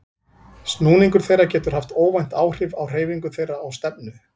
Snúningur þeirra getur haft óvænt áhrif á hreyfingu þeirra og stefnu.